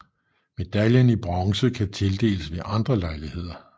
Medaljen i Bronze kan tildeles ved andre lejligheder